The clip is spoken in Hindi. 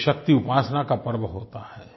ये शक्तिउपासना का पर्व होता है